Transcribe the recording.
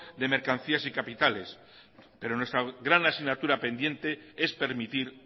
de mercancías y capitales pero nuestra gran asignatura pendiente es permitir